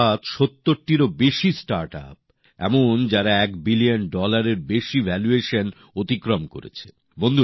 অর্থাৎ সত্তরটিরও বেশি স্টার্টআপ এমন যারা একশো কোটি ডলারের বেশি ভ্যালুয়েশন অতিক্রম করেছে